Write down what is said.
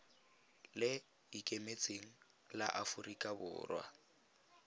le ikemetseng la aforika borwa